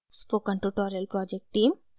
spoken tutorial project team: